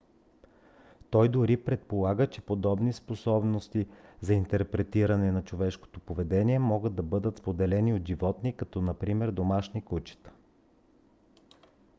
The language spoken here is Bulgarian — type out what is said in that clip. той дори предполага че подобни способности за интерпретиране на човешкото поведение могат да бъдат споделени от животни като например домашните кучета